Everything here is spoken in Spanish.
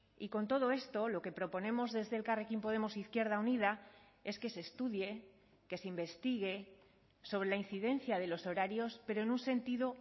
y con todo esto lo que proponemos desde elkarrekin podemos izquierda unida es que se estudie que se investigue sobre la incidencia de los horarios pero en un sentido